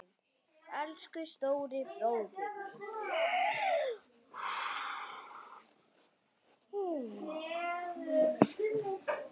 Elsku stóri bróðir minn.